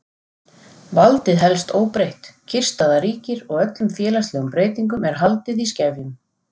Valdið helst óbreytt, kyrrstaða ríkir og öllum félagslegum breytingum er haldið í skefjum.